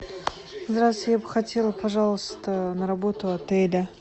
здравствуйте я бы хотела пожаловаться на работу отеля